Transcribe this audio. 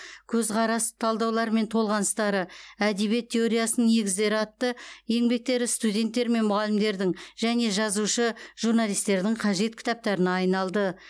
көзқарас талдаулар мен толғаныстары әдебиет теориясының негіздері атты еңбектері студенттер мен мұғалімдердің және жазушы журналистердің қажет кітаптарына айналды